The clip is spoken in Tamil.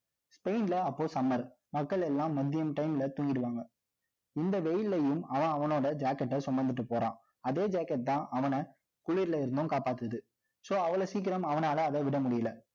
ஸ்பெயின்ல அப்போ summer மக்கள் எல்லாம் மதியம் time ல தூங்கிடுவாங்க. இந்த வெயில்லயும், அவன், அவனோட jacket அ சுமந்துட்டு போறான். அதே jacket தான், அவன குளிர்ல இருந்தும் காப்பாத்துது. So அவ்வளவு சீக்கிரம் அவனால அதை விட முடியலை